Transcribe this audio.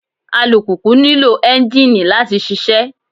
Alùpùpù nílò ẹ́ńjìnì láti ṣiṣẹ́.